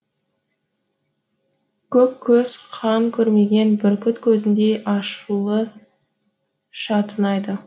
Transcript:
көк көз қан көрмеген бүркіт көзіндей ашулы шатынайды